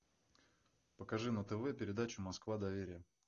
покажи на тв передачу москва доверие